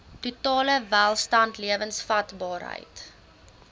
totale welstand lewensvatbaarheid